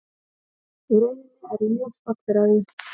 Í rauninni er ég mjög stoltur af því.